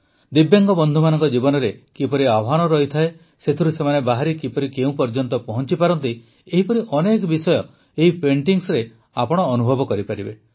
ଦିବ୍ୟାଙ୍ଗ ବନ୍ଧୁମାନଙ୍କ ଜୀବନରେ କିପରି ଆହ୍ବାନ ରହିଥାଏ ସେଥିରୁ ସେମାନେ ବାହାରି କିପରି କେଉଁ ପର୍ଯ୍ୟନ୍ତ ପହଂଚିପାରନ୍ତି ଏହିପରି ଅନେକ ବିଷୟ ଏହି ପେଂଟିଙ୍ଗସରେ ଆପଣ ଅନୁଭବ କରିପାରିବେ